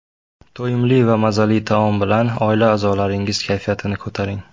To‘yimli va mazali taom bilan oila a’zolaringiz kayfiyatini ko‘taring.